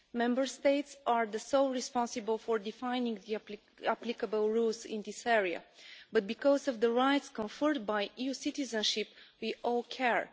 Member States are solely responsible for defining the applicable rules in this area, but because of the rights conferred by EU citizenship, we all care.